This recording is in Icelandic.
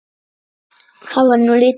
Það var nú lítið.